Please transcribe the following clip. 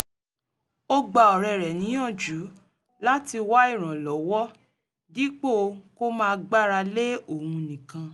ó gba ọ̀rẹ́ rẹ̀ níyànjú láti wá ìrànlọ́wọ́ dípò kó máa gbára lé òun nìkan